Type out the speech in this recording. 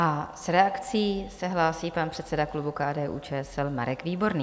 A s reakcí se hlásí pan předseda klubu KDU-ČSL Marek Výborný.